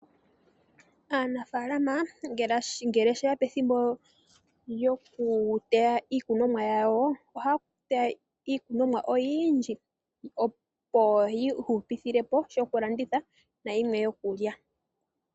Aanafaalama ngele sheya pethimbo lyokuteya iikunomwa yawo, ohaya teya iikunomwa oyindji, opo yi ihupile po shokulanditha na yimwe yokulya.